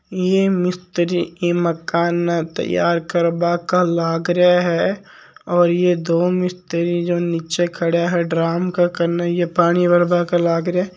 ये मिस्त्री मकान न तैयार करवा के लाग है और ये दो मिस्री नीच खड़ा है ड्रम केन ये पाणी भर्बा के लागरा है।